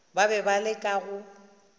ba be ba leka go